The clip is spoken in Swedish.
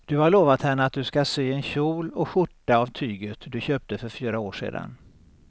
Du har lovat henne att du ska sy en kjol och skjorta av tyget du köpte för fyra år sedan.